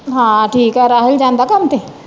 ਹਾਂ ਠੀਕ ਆ ਰਾਹੁਲ ਜਾਂਦਾ ਕੰਮ ਤੇ?